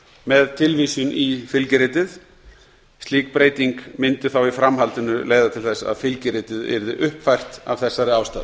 með tilvísun í fylgiritið slík breyting mundi í framhaldinu leiða til þess að fylgiritið yrði uppfært af þessari ástæðu